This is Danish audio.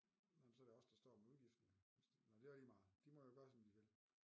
Nej men så er det os der står med udgiften jo hvis det nej det er lige meget de må jo gøre som de vil